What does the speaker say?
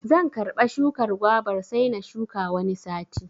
Zan karɓa shukar gwabar sai na shuka Wani sati.